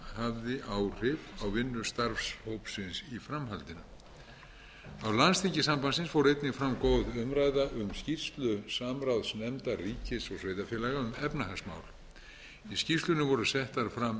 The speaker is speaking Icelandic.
hafði áhrif á vinnu starfshópsins í framhaldinu á landsþingi sambandsins fór einnig fram góð umræða um skýrslu samráðsnefndar ríkis og sveitarfélaga um efnahagsmál í skýrslunni voru settar fram